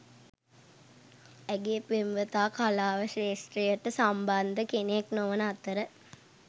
ඇගේ පෙම්වතා කලාව ක්ෂේත්‍රයට සම්බන්ධ කෙනෙක් නොවන අතර